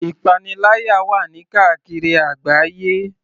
Ìpaniláyà wà ní káàkiri àgbáyé.